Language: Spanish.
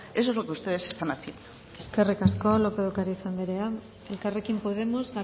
eso es lo que ustedes están haciendo eskerrik asko lópez de ocariz andrea elkarrekin podemos